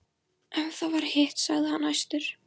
Ef það var hitt, sagði hann æstur: